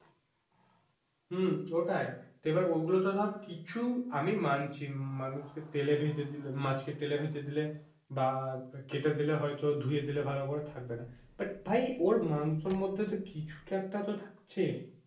হম ওটাই এবার ওগুলোতো ধর কিছু আমি মানছি মানুষকে তেলে ভেজে দিলে মাছকে তেলে ভেজে দিলে বা কেটে দিলে হয়তো ধুয়ে দিলে ভালো করে থাকবে না but ভাই ওর মাংসর মধ্যে তো কিছু তো একটা তো থাকছে।